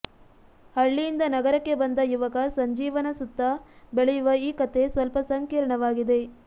ಹಳ್ಳಿಯಿಂದ ನಗರಕ್ಕೆ ಬಂದ ಯುವಕ ಸಂಜೀವನ ಸುತ್ತ ಬೆಳೆಯುವ ಈ ಕಥೆ ಸ್ವಲ್ಪ ಸಂಕೀರ್ಣವಾಗಿದೆ